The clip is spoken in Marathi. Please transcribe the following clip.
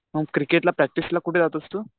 मग क्रिकेटला प्रॅक्टिसला कुठे जातोस तू?